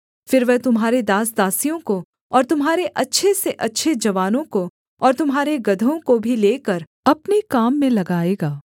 फिर वह तुम्हारे दास दासियों को और तुम्हारे अच्छे से अच्छे जवानों को और तुम्हारे गदहों को भी लेकर अपने काम में लगाएगा